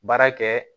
Baara kɛ